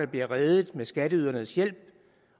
blev reddet med skatteydernes hjælp